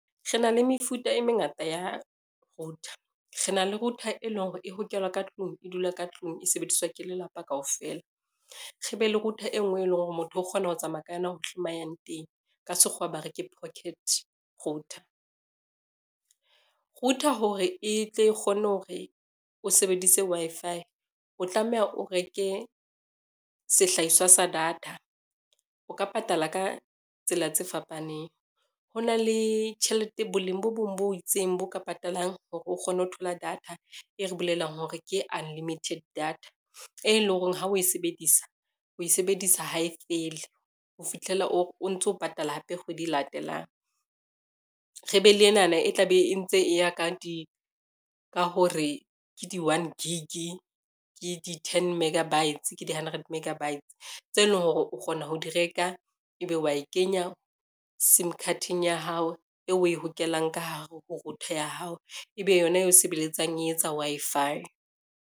Re na le mefuta e mengata ya router, re na le router e leng hore e hokelwa ka tlung e dula ka tlung e sebediswa ke lelapa kaofela, re be le router e ngwe e leng hore motho o kgona ho tsamaya ka yona hohle ma yang teng ka Sekgowa ba re ke pocket router. Router hore e tle kgone hore o sebedise Wi-Fi o tlameha o reke sehlahiswa sa data, o ka patala ka tsela tse fapaneng ho na le tjhelete boleng bo bong bo itseng bo ka patalang hore o kgone ho thola data e re bolelang hore ke unlimited data, e leng hore ha o e sebedisa o e sebedisa ha e fele ho fihlela o ntso patala hape kgwedi e latelang. Re be le enana, e tla be e ntse e ya ka hore ke di one gig, ke di ten megabytes, ke di-hundred mega bytes tseo e leng hore o kgona ho di reka, ebe wa e kenya sim card-eng ya hao eo o e hokelang ka hare ho router ya hao, ebe yona e sebeletsang e etsa Wi-Fi.